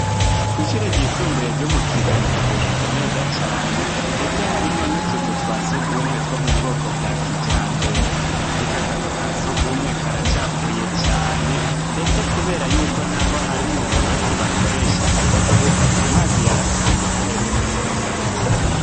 Kwishure ryo mukibenga hubatse neza cane ndetse harimwo nutuzu twubatse bwakijambere ariko akazu kasugumwe karacafuye cane ndetse ko harimwo uburoso bakoresha mugukora isuku amazi yarakamye ntaherutse kuza